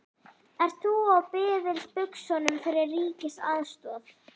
Ert þú á biðilsbuxunum fyrir ríkisaðstoð?